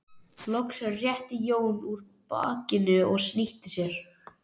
Loks rétti Jón úr bakinu og snýtti sér.